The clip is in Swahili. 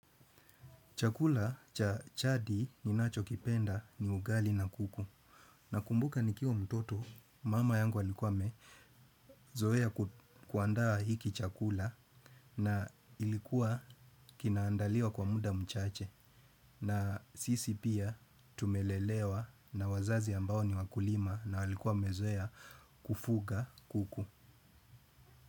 Chakula cha jadi ninachokipenda ni ugali na kuku. Nakumbuka nikiwa mtoto, mama yangu alikuwa amezoea kuandaa hiki chakula na ilikuwa kinaandaliwa kwa muda mchache. Na sisi pia tumelelewa na wazazi ambao ni wakulima na walikuwa wamezoea kufuga kuku.